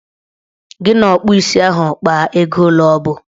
Gị na ọkpụ isi ahụ kpaa ego ole ọbụ!